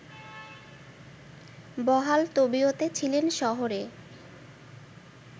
বহাল তবিয়তে ছিলেন শহরে